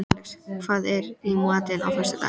Alex, hvað er í matinn á föstudaginn?